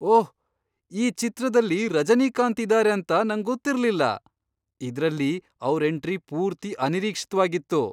ಓಹ್! ಈ ಚಿತ್ರದಲ್ಲಿ ರಜನೀಕಾಂತ್ ಇದಾರೆ ಅಂತ ನಂಗೊತ್ತಿರ್ಲಿಲ್ಲ. ಇದ್ರಲ್ಲಿ ಅವ್ರ್ ಎಂಟ್ರಿ ಪೂರ್ತಿ ಅನಿರೀಕ್ಷಿತ್ವಾಗಿತ್ತು.